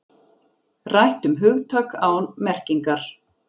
Rætt um hugtak án merkingar